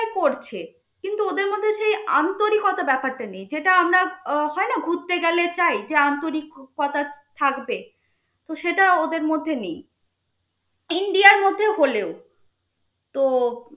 ওরা করছে, কিন্তু ওদের মধ্যে সেই আন্তরিকতা ব্যপারটা নেই. যেটা আমরা আহ হয় না আমরা ঘুরতে গেলে চাই যে আন্তরিকতা থাকবে তো সেটা ওদের মধ্যে নেই. ইন্ডিয়ার মধ্যে হলেও তো